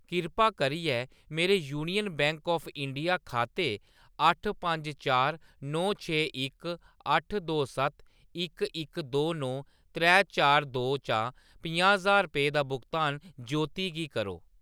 कृपा करियै मेरे यूनियन बैंक ऑफ इंडिया खाते अट्ठ पंज चार नौ छे इक अट्ठ दो सत्त इक इक दो नौ त्रै चार दो चा पंजाह् ज्हार रपेऽ दा भुगतान ज्योती गी करो।